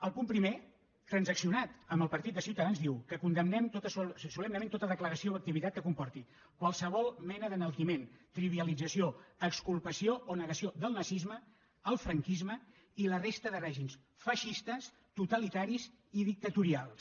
el punt primer transaccionat amb el partit de ciutadans diu que condemnem solemnement tota declaració o activitat que comporti qualsevol mena d’enaltiment trivialització exculpació o negació del nazisme el franquisme i la resta de règims feixistes totalitaris i dictatorials